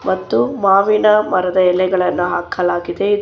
ಮತ್ತು ಮಾವಿನ ಮರದ ಎಲೆಗಳನ್ನ ಹಾಕಲಾಗಿದೆ ಇದ--